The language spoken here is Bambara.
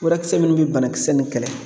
Furakisɛ minnu bɛ banakisɛ nin kɛlɛ